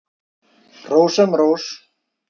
Hrós sem rós.